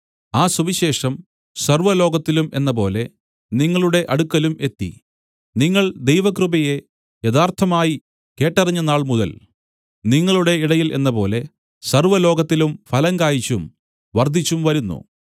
ആ സുവിശേഷം സർവ്വലോകത്തിലും എന്നപോലെ നിങ്ങളുടെ അടുക്കലും എത്തി നിങ്ങൾ ദൈവകൃപയെ യഥാർത്ഥമായി കേട്ടറിഞ്ഞ നാൾമുതൽ നിങ്ങളുടെ ഇടയിൽ എന്നപോലെ സർവ്വലോകത്തിലും ഫലം കായിച്ചും വർദ്ധിച്ചും വരുന്നു